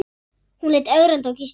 Hún leit ögrandi á Gísla.